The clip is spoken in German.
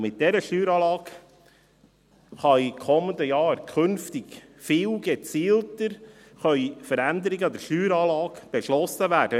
Und mit dieser Steueranlage können in den kommenden Jahren künftig viel gezielter Veränderungen an der Steueranlage beschlossen werden.